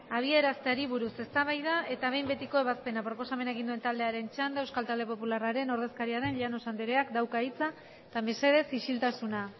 abiarazteari buruz eztabaida eta behin betiko ebazpena proposamena egin duen taldearen txanda euskal talde popularraren ordezkaria den llanos andreak dauka hitza eta mesedez isiltasuna